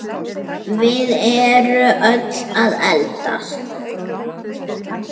Við erum öll að eldast.